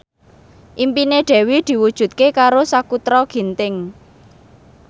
impine Dewi diwujudke karo Sakutra Ginting